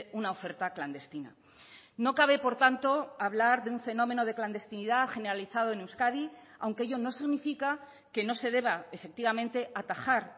una oferta clandestina no cabe por tanto hablar de un fenómeno de clandestinidad generalizado en euskadi aunque ello no significa que no se deba efectivamente atajar